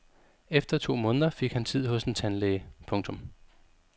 Efter to måneder fik han tid hos en tandlæge. punktum